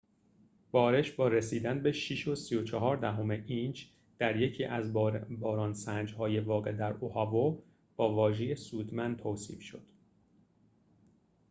بارش با رسیدن به ۶.۳۴ اینچ در یکی از باران‌سنج‌های واقع در اوآهو با واژه سودمند توصیف شد